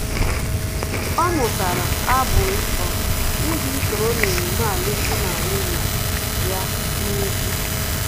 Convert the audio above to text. Ọ mụtara abụ nsọ iji soro na-emume alum dị na nwunye ya na-ùgwù